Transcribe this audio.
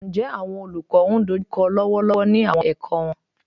Njẹ awọn olukọ n dojukọ lọwọlọwọ ni awọn ẹkọ wọn?